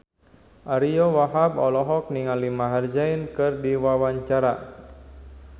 Ariyo Wahab olohok ningali Maher Zein keur diwawancara